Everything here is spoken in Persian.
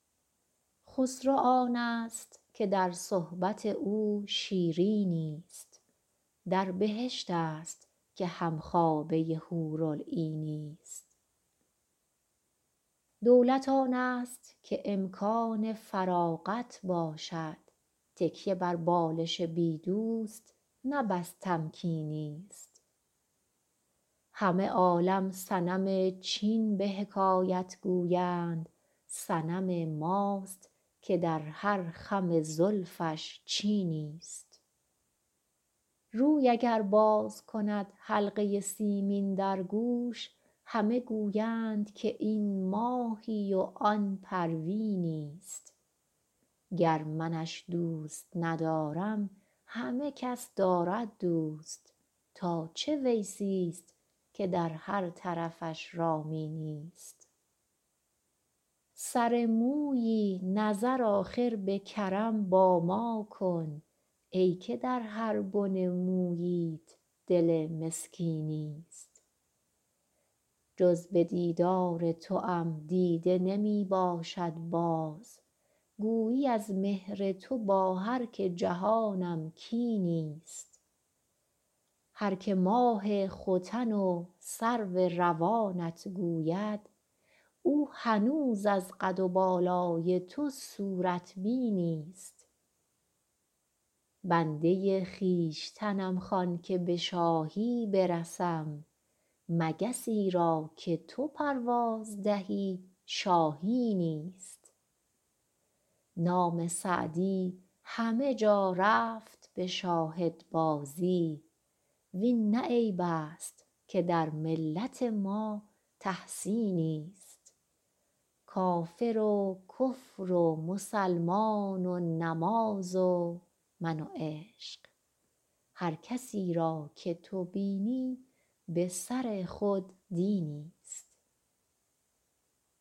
خسرو آنست که در صحبت او شیرینی ست در بهشت است که هم خوابه حورالعینی ست دولت آنست که امکان فراغت باشد تکیه بر بالش بی دوست نه بس تمکینی ست همه عالم صنم چین به حکایت گویند صنم ماست که در هر خم زلفش چینی ست روی اگر باز کند حلقه سیمین در گوش همه گویند که این ماهی و آن پروینی ست گر منش دوست ندارم همه کس دارد دوست تا چه ویسی ست که در هر طرفش رامینی ست سر مویی نظر آخر به کرم با ما کن ای که در هر بن موییت دل مسکینی ست جز به دیدار توام دیده نمی باشد باز گویی از مهر تو با هر که جهانم کینی ست هر که ماه ختن و سرو روانت گوید او هنوز از قد و بالای تو صورت بینی ست بنده خویشتنم خوان که به شاهی برسم مگسی را که تو پرواز دهی شاهینی ست نام سعدی همه جا رفت به شاهدبازی وین نه عیب است که در ملت ما تحسینی ست کافر و کفر و مسلمان و نماز و من و عشق هر کسی را که تو بینی به سر خود دینی ست